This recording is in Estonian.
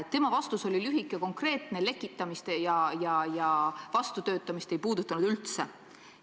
Tema vastus oli lühike ja konkreetne, lekitamist ja vastutöötamist ei puudutanud ta üldse.